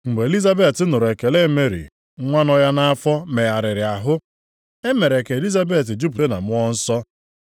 Mgbe Elizabet nụrụ ekele Meri, nwa nọ ya nʼafọ megharịrị ahụ. E mere ka Elizabet jupụta na Mmụọ nsọ.